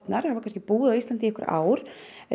þær hafa kannski búið á Íslandi í nokkur ár